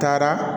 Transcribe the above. Taara